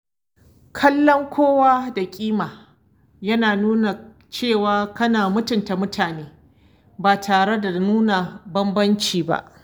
Kallon kowa da ƙima yana nuna cewa kana mutunta mutane ba tare da nuna bambanci ba.